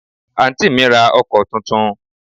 Àǹtí mi ra ọkọ̀ tuntun